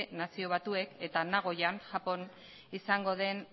nazio batuek eta nagoyan japon izango den